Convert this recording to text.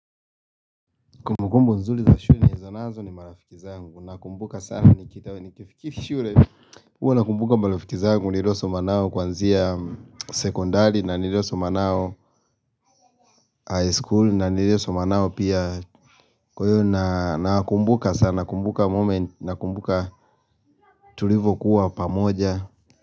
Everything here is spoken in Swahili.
Kumbukumbu nzuli za shule nilizonazo ni marafiki zangu na kumbuka sana ni chitawe ni kifiki shule huwa na kumbuka marafiki zangu nirosom anao kwanzia sekondari na niroso manao high school na niroso manao pia Kwa hiyo nakumbuka sana kumbuka moment na kumbuka tulivo kuwa pamoja.